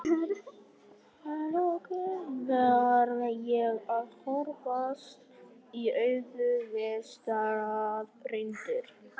að lokum varð ég að horfast í augu við staðreyndir.